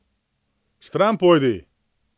Stran pojdi!